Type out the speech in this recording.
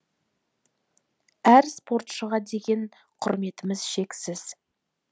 әр спортшыға деген құрметіміз шексіз